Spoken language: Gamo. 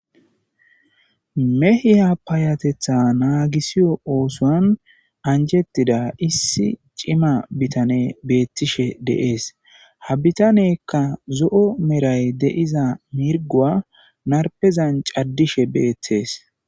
mehiya paayatetha naagisiyo oosoan anjettida issi cima bitane beettishe deees ha bitanekka zo7o meray deiza mirgoa narpezan caddishe beettees